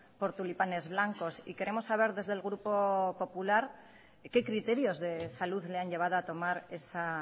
por tulipanes blancos y queremos saber desde el grupo popular qué criterios de salud le han llevado a tomar esa